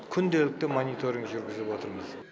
күнделікті мониторинг жүргізіп отырмыз